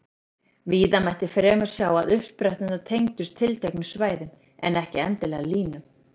Víða mætti fremur sjá að uppspretturnar tengdust tilteknum svæðum, en ekki endilega línum.